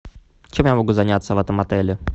чем я могу заняться в этом отеле